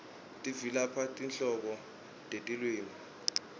tivelaphi tinhlobo tetilwimi